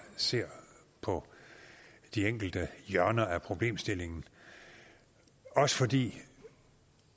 ser på de enkelte hjørner af problemstillingen også fordi